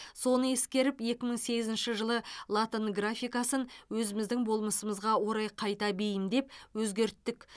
соны ескеріп екі мың сегізінші жылы латын графикасын өзіміздің болмысымызға орай қайта бейімдеп өзгерттік